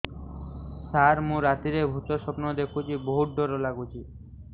ସାର ମୁ ରାତିରେ ଭୁତ ସ୍ୱପ୍ନ ଦେଖୁଚି ବହୁତ ଡର ଲାଗୁଚି